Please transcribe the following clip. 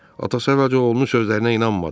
Atası əvvəlcə oğlunun sözlərinə inanmadı.